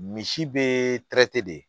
Misi be de